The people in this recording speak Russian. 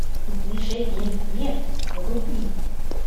движение вверх вруби